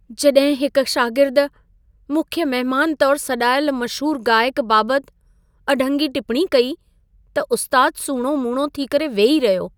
जॾहिं हिक शागिर्दु मुख्य महिमान तौरु सॾाइलु मशहूर गाइक बाबति अढंगी टिपणी कई, त उस्तादु सूणो मूणो थी करे वेही रहियो।